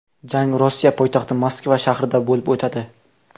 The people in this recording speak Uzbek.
Jang Rossiya poytaxti Moskva shahrida bo‘lib o‘tadi.